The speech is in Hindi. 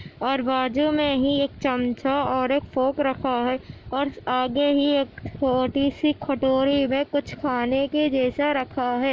और बाजु में ही एक चम्चा और एक फॉक रखा है और आगे ही एक छोटी सी कटोरी में कुछ खाने के जैसा रखा है।